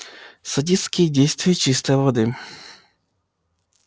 садистские действия чистой воды